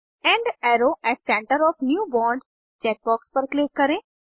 end अरो at center of new bond check box पर click करें